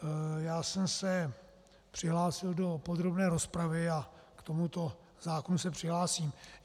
Já jsem se přihlásil do podrobné rozpravy a k tomuto návrhu se přihlásím.